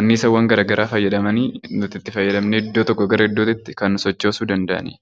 annisaawwan garaagaraa fayyadamanii nuti itti fayyadamnee iddoo tokkoo gara iddoo tokkotti kan sochoosuu danda'anidha.